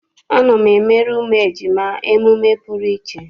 A na-emere ụmụ ejima emume pụrụ iche.